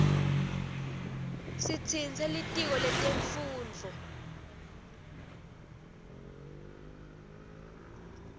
sitsintse litiko lemfundvo